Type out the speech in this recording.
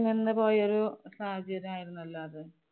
എന്നപോലെയൊരു സാധ്യത എന്നല്ലാതെ